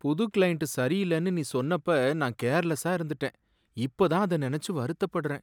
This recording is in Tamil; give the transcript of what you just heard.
புது க்ளையண்ட் சரியில்லைன்னு நீ சொன்னப்ப நான் கேர்லஸா இருந்துட்டேன், இப்ப தான் அதை நினைச்சு வருத்தப்படறேன்.